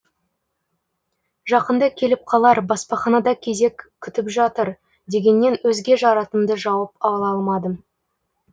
жақында келіп қалар баспаханада кезек күтіп жатыр дегеннен өзге жарытымды жауап ала алмадым